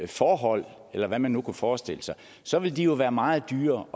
forhold eller hvad man nu kunne forestille sig så ville de jo være meget dyrere at